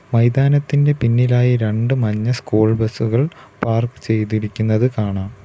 മൈതാനത്തിൻ്റെ പിന്നിലായി രണ്ട് മഞ്ഞ സ്കൂൾ ബസുകൾ പാർക്ക് ചെയ്തിരിക്കുന്നത് കാണാം.